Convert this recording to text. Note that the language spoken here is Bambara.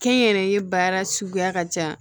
Kɛnyɛrɛye baara suguya ka ca